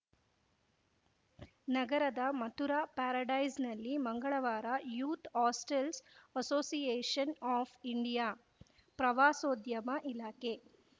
ನಗರದ ಮಥುರಾ ಪ್ಯಾರಡೈಸ್‌ನಲ್ಲಿ ಮಂಗಳವಾರ youth hostels association of India ಪ್ರವಾಸೋದ್ಯಮ ಇಲಾಖೆ